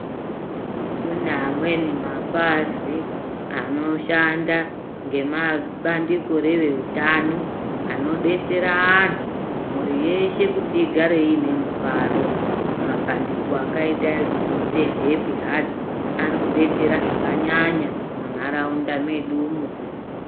Kune amweni mapazi anoshanda ngemabandiko ngere utano anodetsera anhu mhuri yeshe kuti igare iine mufaro mapandiko akaita sehappy hearts ari kudetsera zvakanyanya munharaunda medumwoo